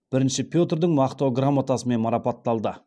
бірінші петрдің мақтау грамотасымен марапатталды